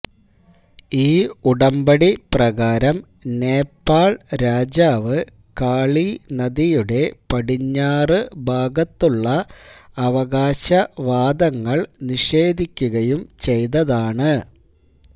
ഈ ഉടമ്പടി പ്രകാരം നേപ്പാള് രാജാവ് കാളീ നദിയുടെ പടിഞ്ഞാറ് ഭാഗത്തുള്ള അവകാശ വാദങ്ങള് നിഷേധിക്കുകയും ചെയ്തതാണ്